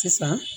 Sisan